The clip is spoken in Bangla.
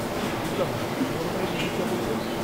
ঠিক বুঝলাম না, কী ধরনের ইভিসা বলতে?